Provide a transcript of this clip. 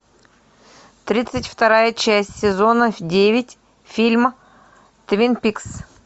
тридцать вторая часть сезона девять фильм твин пикс